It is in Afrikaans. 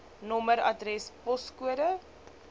nommer adres poskode